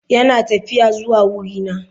Yana tafiya zuwa wurina.